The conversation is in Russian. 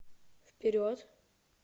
вперед